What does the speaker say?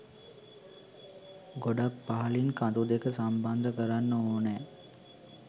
ගොඩක් පහළින් කඳු දෙක සම්බන්ධ කරන්න ඕනෑ.